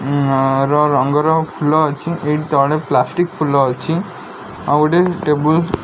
ନାର ରଙ୍ଗର ଫୁଲ ଅଛି ଏଠି ତଳେ ପ୍ଲାଷ୍ଟିକ୍ ଫୁଲ ଅଛି ଆଉଗୋଟେ ଟେବୁଲ ।